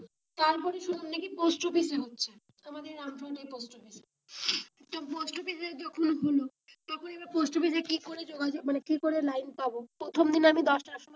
তারপর এ শুনলাম নাকি পোস্টঅফিসে হচ্ছে তো আমাদের রামপুরহাট এর পোস্ট অফিস এ তো পোস্ট অফিস এ যখন হলো তখন এ বা পোস্টঅফিসে কি করে যোগাযোগ মানে কি করে লাইন পাবো? প্রথম দিনে আমি দশটার সময়,